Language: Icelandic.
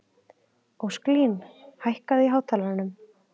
Ósklín, hækkaðu í hátalaranum.